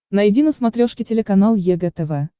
найди на смотрешке телеканал егэ тв